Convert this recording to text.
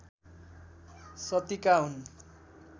शतीका हुन्